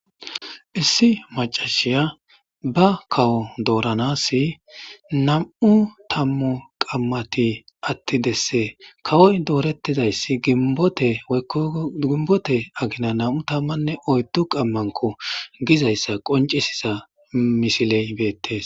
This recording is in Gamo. issi macashiya ba kawo dooranasi nam7u tammu qammati attidesse kawoy doorettizayssi gibote kko gimbote agina nam7u tammanne oyddu qammanko gizayssa qoncisisa misiley beettes